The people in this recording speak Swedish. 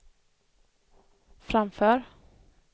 framför